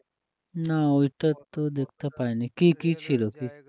না ওইটা তো দেখতে পাইনি, কী কী ছিল?